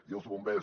i els bombers